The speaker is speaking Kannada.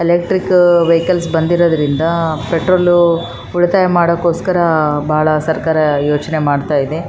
ಇಲ್ಲಿ ಕಸ ಹಾಕುವ ಒಂದು ಕೆಂಪು ಬಣ್ಣದ ಡಬ್ಬವನ್ನು ಇಟ್ಟಿ--